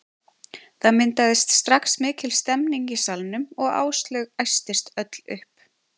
Það myndaðist strax mikil stemning í salnum og Áslaug æstist öll upp.